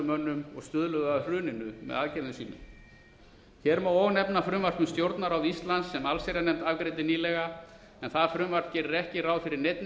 mönnum sem stuðluðu að hruninu með aðgerðum sínum hér má og nefna frumvarp um stjórnarráð íslands sem allsherjarnefnd afgreiddi nýlega en það frumvarp gerir ekki ráð fyrir neinni